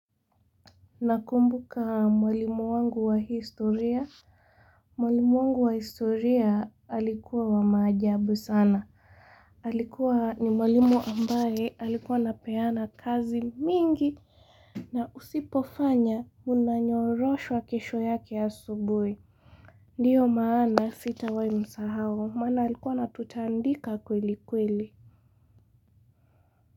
Nakumbuka mwalimu wangu wa historia Mwalimu wangu wa historia alikuwa wa majabu sana Alikuwa ni mwalimu ambaye alikuwa anapeana kazi mingi na usipofanya unanyoroshwa kesho yake ya asubuhi Ndiyo maana sitawahi msahau, maana alikuwa anatutandika kweli kweli.